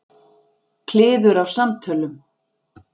Kliður af samtölum.